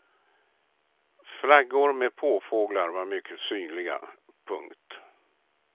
Flaggor med påfåglar var mycket synliga. punkt